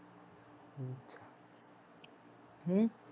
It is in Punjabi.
ਹਮ